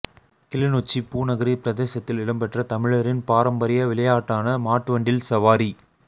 கிளிநொச்சி பூநகரி பிரதேசத்தில் இடம்பெற்ற தமிழரின் பாரம்பரிய விளையாட்டான மாட்டுவண்டில் சவாரி